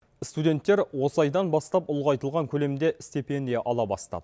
студенттер осы айдан бастап ұлғайтылған көлемде стипендия ала бастады